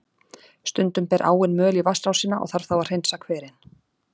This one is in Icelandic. Stundum ber áin möl í vatnsrásina, og þarf þá að hreinsa hverinn.